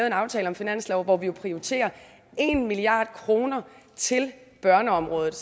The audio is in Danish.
en aftale om finansloven hvor vi prioriterer en milliard kroner til børneområdet